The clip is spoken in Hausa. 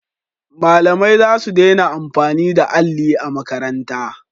Malamai za su dena amfani da alli a makaranta